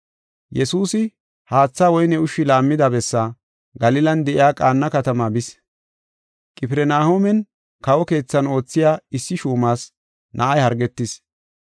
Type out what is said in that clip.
Yesuusi haatha woyne ushshi laammida bessaa, Galilan de7iya Qaana katama bis. Qifirnahooman kawo keethan oothiya issi shuumas na7ay hargetis.